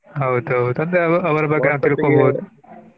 ಹೌದು ಹೌದು ಅಂತ ಅಂದ್ರೆ ಅವರ ಅವರ ಬಗ್ಗೆ .